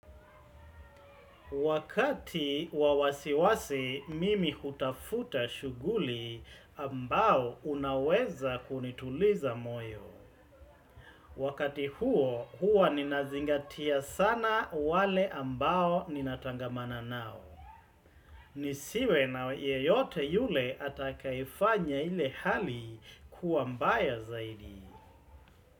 Wakati wa wasiwasi, mimi hutafuta shughuli ambayo inaweza kunituliza moyo. Wakati huo, huwa ninazingatia sana wale ambao ninatangamana nao. Nisiwe na yeyote yule atakayefanya ile hali kuwa mbaya zaidi.